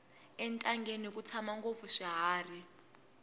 entangeni ku tshama ngopfu swiharhi